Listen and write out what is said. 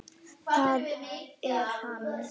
Það er hann.